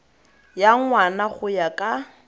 ya ngwana go ya ka